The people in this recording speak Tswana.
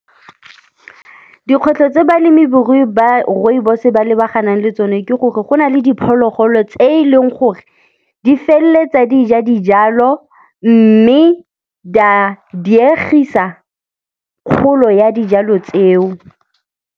Dikgwetlho tse balemi-borui ba rooibos ba lebaganang le tsone ke gore go na le diphologolo tse e leng gore di feleletsa di ja dijalo mme di a diegisa kgolo ya dijalo tseo.